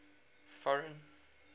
foreign